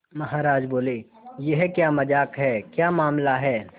महाराज बोले यह क्या मजाक है क्या मामला है